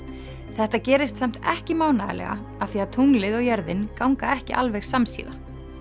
þetta gerist samt ekki mánaðarlega af því að tunglið og jörðin ganga ekki alveg samsíða